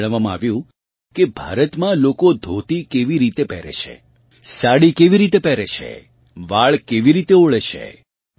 તેમને જણાવવામાં આવ્યું કે ભારતમાં લોકો ધોતી કેવી રીતે પહેરે છે સાડી કેવી રીતે પહેરે છે વાળ કેવી રીતે ઓળે છે